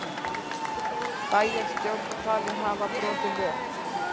Bæjarstjórn talin hafa brotið lög